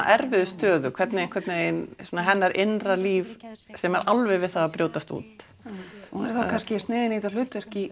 erfiðu stöðu hvernig einhvern veginn hennar innra líf sem er alveg við það að brjótast út hún er þá kannski sniðin í þetta hlutverk í